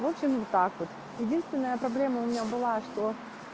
в общем вот так вот единственная проблема у меня было что